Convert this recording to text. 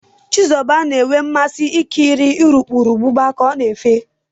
Chizuba na-enwe mmasị ikiri urukurubụba ka ọ na-efe.